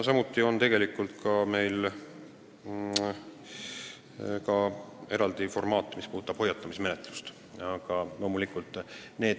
Samuti on meil eraldi formaat hoiatamismenetluse jaoks.